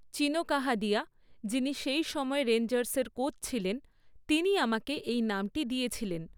চীনো কাদাহিয়া, যিনি সেই সময় রেঞ্জার্সের কোচ ছিলেন, তিনি আমাকে এই নামটি দিয়েছিলেন।